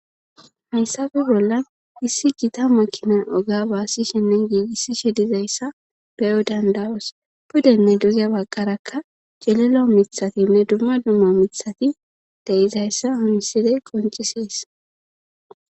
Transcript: Hayssafe bolla issi gita makina oga baassishenne giigissi shedizayssa beyo dandawos pudenne dugya baqqarakka jelelo mithatinne dumma dumma mithati deizayssa umisidey qoncisees.